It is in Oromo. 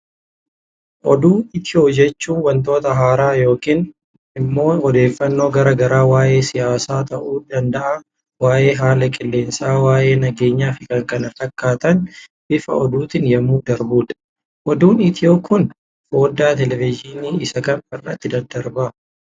Oduu iitiyoo jechuunii waantota haara yookan immoo odeeffanno garaa garaa waa'ee siyaasa ta'uu danda'a waa'ee haala qillensa, waa'ee nageenya fi kan kana fakkatan bifa oduutin yemmuu darbudha. Oduun itiyoo Kun fodda televizhinii isa Kam irratti daddarbaa?